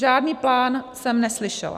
Žádný plán jsem neslyšela.